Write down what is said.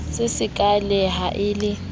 se sekaale ha e le